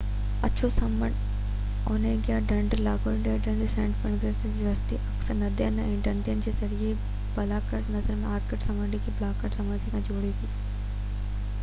اڇو سمنڊ– اونيگا ڍنڍ، لاڊوگا ڍنڍ ۽ سينٽ پيٽرزبرگ جي رستي، اڪثر ندين ۽ ڍنڍن جي ذريعي بالٽڪ نهر آرڪٽڪ سمنڊ کي بالٽڪ سمنڊ سان جوڙي ٿي